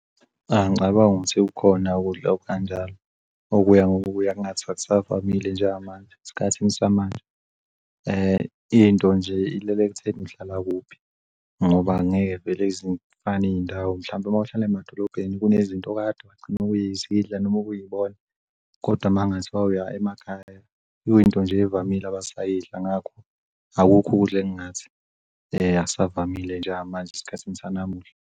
Angicabangi ukuthi kukhona ukudla okanjalo okuya ngokuya kuthiwa akusavamile njengamanje, esikhathini samanje. Into nje ilele ekuthenini uhlala kuphi ngoba angeke vele zifana'iy'ndawo. Mhlawumpe mawuhlala emadolobheni kunezinto okade wagcina ukuzidla noma ukuyibona kodwa makungathiwa uya emakhaya yonkinto nje evamile basayidla ngakho, akukho ukudla engathi akusavamile njengamanje esikhathini sanamuhla.